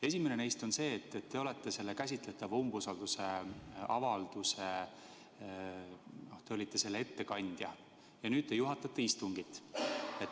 Esimene neist on selle kohta, et te olite praegu käsitletava umbusaldusavalduse ettekandja ja nüüd te juhatate istungit.